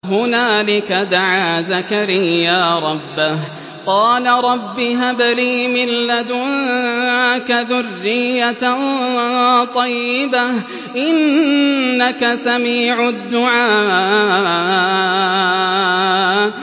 هُنَالِكَ دَعَا زَكَرِيَّا رَبَّهُ ۖ قَالَ رَبِّ هَبْ لِي مِن لَّدُنكَ ذُرِّيَّةً طَيِّبَةً ۖ إِنَّكَ سَمِيعُ الدُّعَاءِ